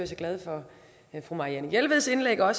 så glad for fru marianne jelveds indlæg hvor